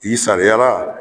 I sariyara